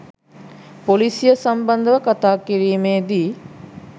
පොලිසිය සම්බන්ධව කතා කිරීමේදී